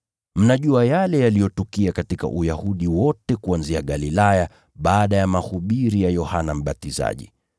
Mnajua yale yaliyotukia katika Uyahudi wote kuanzia Galilaya baada ya mahubiri ya Yohana Mbatizaji: